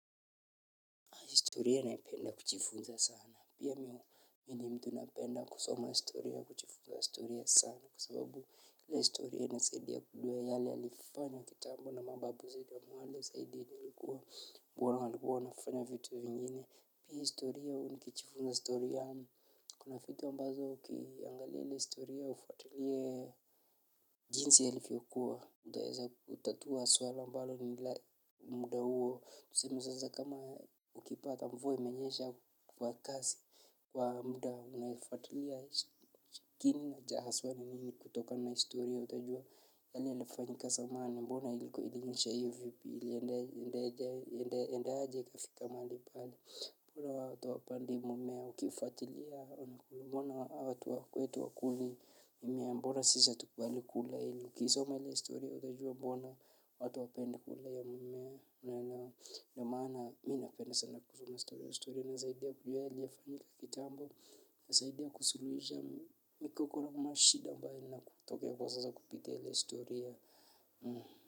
Historia napenda kujifunza sana. Pia mimi ni mtu napenda kusoma historia kujifunza historia sana. Kwa sababu kila historia inasaidia kujua yale yalifanya kitambo na mababu zaidi mwale zaidi. Kuona walikuwa wanafanya vitu vingne. Pia historia huu nikijifunza historia. Kuna vitu ambazo ukiangalia ilw historia ufualie jinsi yalivyokuwa. Utaweza kutatua swala ambalo ni muda huo. Tuseme sasa kama ukipata mvua imenyesha kwa kasi kwa muda unaifuatilia kiini cha haswa ni nini kutoka na historia. Utajua yale yalifanyika zamani mbona iliko iliishahivu ili iliendaje ikafika mahali pale. Mbona watu hawapandi mmea ukifuatilia mbona watu wetu wa kuli mmea mbona sisi hatukubaliwi kula hili. Ukisoma hile istoria utajua mbona watu hawapende kula hiyo mmea. Mmea ndo maana mimi napenda sana kusoma ile historia. Inanisaidia kujua yaliyofanyika kitambo. Inaniasaidia kusuluhisha. Migogoro na mashida ambayo inatokea kwa sasa kupitia ile historia. Hmm.